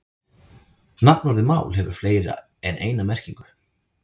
Nafnorðið mál hefur fleiri en eina merkingu.